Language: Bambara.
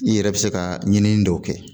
I yɛrɛ bɛ se ka ɲinini dɔw kɛ